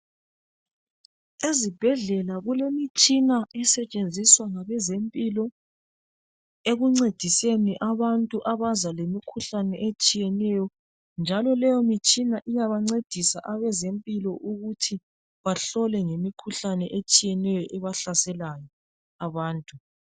Ezibhedlela kulemitshina esetshenziswa ngabezempilo ekuncediseni abantu abaza lemikhuhlane etshiyeneyo njalo leyo mitshina iyabancedisa abezempilo ukuthi bahlole ngemikhuhlane etshiyeneyo ebahlaselayo abantu.